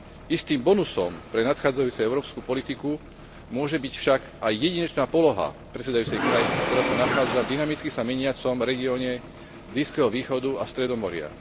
Istým bonusom pre nadchádzajúcu európsku politiku môže byť však aj jedinečná poloha predsedajúcej krajiny, ktorá sa nachádza v dynamicky sa meniacom regióne Blízkeho východu a Stredomoria.